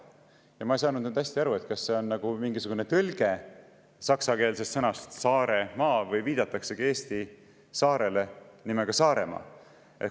Ja ma ei saanud nüüd hästi aru, kas see on mingisugune saksakeelne tõlge sõnast "Saare maa" või viidataksegi Eesti saarele nimega Saaremaa.